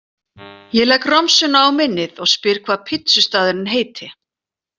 Ég legg romsuna á minnið og spyr hvað pítsustaðurinn heiti.